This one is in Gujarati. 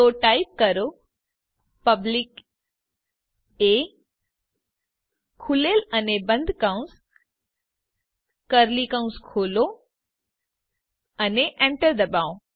તો ટાઇપ કરો પબ્લિક એ ખૂલેલ અને બંધ કૌસ કર્લી કૌસ ખોલો અને Enter ડબાઓ